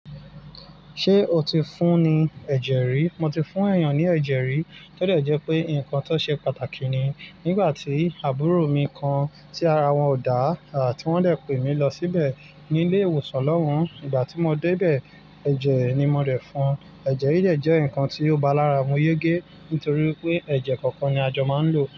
Ṣé o ti fún ní ẹ̀jẹ̀ rí? Mo ti fún èèyàn ní ẹ̀jẹ̀ rí. Tó dẹ̀ jẹ́ pé nkan tó ṣe pàtàkì ni. Nígbà tí àbúrò mi kan tí ara wọn ò dá ti wọ́n de pé mi lọ síbẹ̀ ní ilé ìwòsàn lọ́hun, ìgbà tí mo dé ibẹ̀, ẹ̀jẹ̀ ni mo dẹ̀ fún won. Ẹ̀jẹ̀ yii dẹ̀ jẹ́ nkan tí ó bá lára mu yégé nítorí pé ẹ̀jẹ̀ kankan ni a jọ máa ń lò.